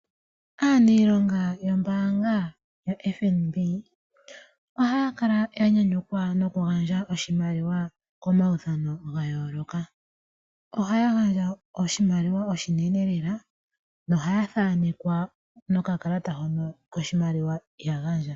Aanilonga yomombaanga yoFNB, ohaya kala ya nyanyukwa nokugandja oshimaliwa komaudhano ga yooloka. Ohaya gandja oshimaliwa oshinene lela nohaya thaanekwa nokakalata koshimaliwa shono ya gandja.